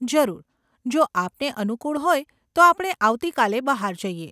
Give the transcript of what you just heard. જરૂર, જો આપને અનુકુળ હોય તો આપણે આવતી કાલે બહાર જઈએ.